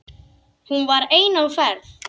Hún var ein á ferð.